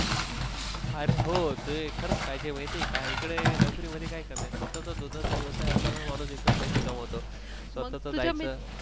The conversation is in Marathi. अरे हो ते खरंच पाहिजे माहिती आहे का? इकडे नोकरी मधी काय कमी आहेत. स्वतःचा दुधाचा व्यवसाय असला न माणूस एकदम पैसा कमतो.